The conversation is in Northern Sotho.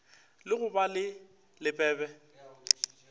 la go ba le lebebe